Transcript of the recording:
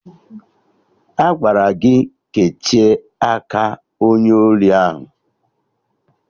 Agwara gị kechie aka onye ori ahụ!